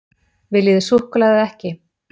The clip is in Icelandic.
Viljið þið súkkulaði eða ekki?